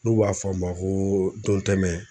N'u b'a fɔ a ma koo dontɛmɛ